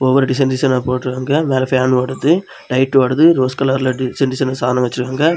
ஒவ்வொரு டிசைன் டிசைனா போட்ருக்காங்க மேல ஃப்பேன் ஓடுது லைட் ஓடுது ரோஸ் கலர்ல டிசைன் டிசைன் வச்சிருக்காங்க.